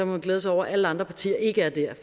man glæde sig over at alle andre partier ikke er der